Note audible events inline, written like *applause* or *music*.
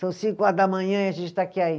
São cinco horas da manhã e a gente está aqui *unintelligible*